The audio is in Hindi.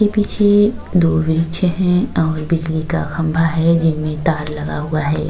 इसके पीछे दो हैं और बिजली का खंबा है जिनमें तार लगा हुआ है।